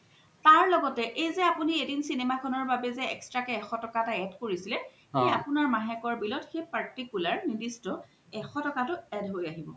তাৰ লগ্তে এই জে আপুনি এদিন cinema এখ্নৰ বাবে জে extra কে এশ টকা এটা add কৰিছিলে আপুনাৰ মাহেকা bill ত সেই particular নিৰ্দিষ্ট এশ টকাতো add হয় আহিব